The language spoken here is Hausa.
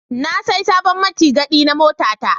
Na sai sabon mutigadi na motata.